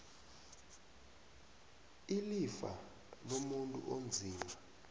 ilifa lomuntu onzima